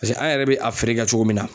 Paseke an yɛrɛ bɛ a feere kɛ cogo min na.